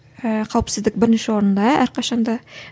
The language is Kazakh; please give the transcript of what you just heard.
ыыы қауіпсіздік бірінші орында әрқашан да